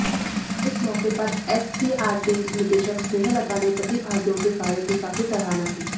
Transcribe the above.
इस मौके पर एससीईआरटी निदेशक स्नेहलता ने प्रतिभागियों के कार्य की काफी सराहना की